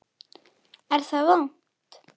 Er það vont?